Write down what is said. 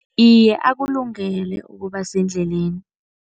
Iye, akulungele ukuba sendleleni.